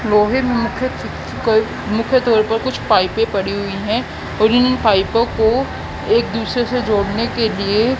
मुख्य द्वार पर कुछ पाईपे पड़ी हुई है और इन पाइपों को एक दूसरे से जोड़ने के लिए--